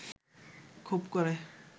খুব ক’রে